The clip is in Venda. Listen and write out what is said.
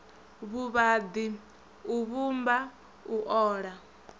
vhuvhaḓi u vhumba u ola